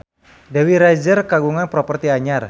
Dewi Rezer kagungan properti anyar